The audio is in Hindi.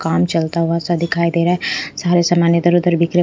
काम चलता हुआ सा दिखाई दे रहा है सारा समान इधर-उधर बिखरे --